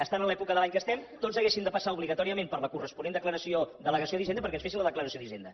estant en l’època de l’any que estem tots haguéssim de passar obligatòriament per la corresponent delegació d’hisenda perquè ens fessin la declaració de renda